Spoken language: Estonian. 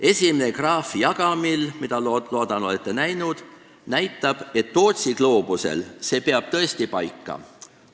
Esimene graaf jagamil – ma loodan, et te olete seda näinud – näitab, et Tootsi gloobusel peab see tõesti paika.